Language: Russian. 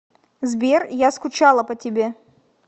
сбер я скучала по тебе